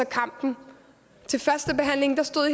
kampen til førstebehandlingen stod